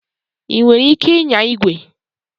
Ị nwere ike ịnya igwe?